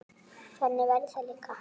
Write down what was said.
Þannig verður það líka.